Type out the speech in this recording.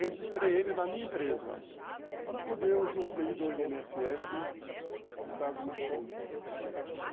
Registrei ele na minha empresa para poder usufruir do i ene esse esse com prazo mais curto.